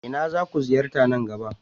Ina zaku ziyarta nan gaba?